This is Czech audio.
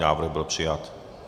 Návrh byl přijat.